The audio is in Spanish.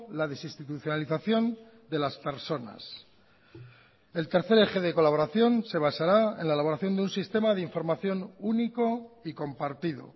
la desinstitucionalización de las personas el tercer eje de colaboración se basará en la elaboración de un sistema de información único y compartido